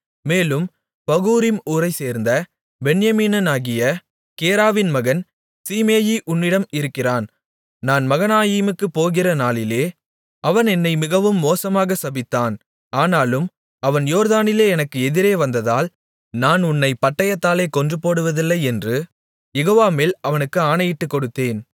மேலும் பகூரிம் ஊரைச்சேர்ந்த பென்யமீனனாகிய கேராவின் மகன் சீமேயி உன்னிடம் இருக்கிறான் நான் மகனாயீமுக்குப் போகிற நாளிலே அவன் என்னை மிகவும் மோசமாக சபித்தான் ஆனாலும் அவன் யோர்தானிலே எனக்கு எதிரே வந்ததால் நான் உன்னைப் பட்டயத்தாலே கொன்றுபோடுவதில்லை என்று யெகோவாமேல் அவனுக்கு ஆணையிட்டுக்கொடுத்தேன்